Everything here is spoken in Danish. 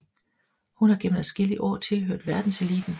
Hun har gennem adskillige år tilhørt verdenseliten